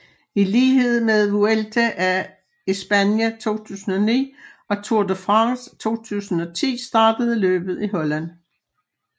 I lighed med Vuelta a España 2009 og Tour de France 2010 startede løbet i Holland